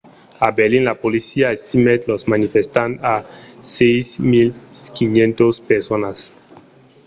a berlin la polícia estimèt los manifestants a 6 500 personas